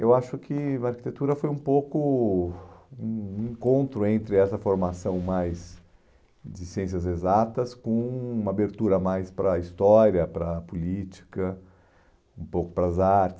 Eu acho que arquitetura foi um pouco um um encontro entre essa formação mais de ciências exatas com uma abertura mais para a história, para a política, um pouco para as artes.